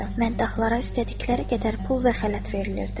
Mədaqçılara istədikləri qədər pul və xələt verilirdi.